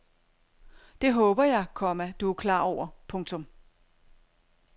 Det håber jeg, komma du er klar over. punktum